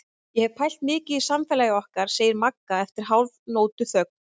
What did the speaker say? Ég hef pælt mikið í samfélagi okkar, segir Magga eftir hálfnótuþögn.